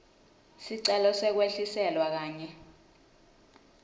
sicelo sekwehliselwa kanye